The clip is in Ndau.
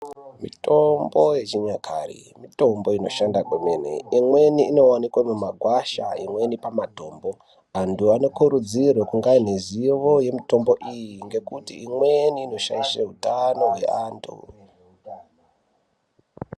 Mitombo yechinyakare mitombo inoshanda kwemene. Imweni inowanikwe mumagwasha imweni pamatombo. Antu anokurudzirwa kunge aine zivo yemitombo iyi ngekuti imweni inoshaishe utano hwevantu.